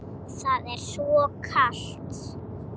Það er svo kalt.